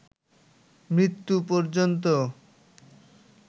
মৃত্যু পর্যন্ত